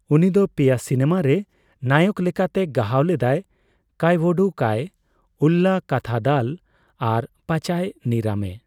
ᱩᱱᱤᱫᱚ ᱯᱮᱭᱟ ᱥᱤᱱᱮᱢᱟ ᱨᱮ ᱱᱟᱭᱚᱠ ᱞᱮᱠᱟᱛᱮ ᱜᱟᱦᱟᱣ ᱞᱮᱫᱟᱭ, ᱠᱟᱭᱣᱳᱲᱩ ᱠᱟᱭ, ᱩᱞᱞᱟ ᱠᱟᱛᱷᱟᱫᱟᱞ ᱟᱨ ᱯᱟᱪᱟᱭ ᱱᱤᱨᱟᱢᱮ ᱾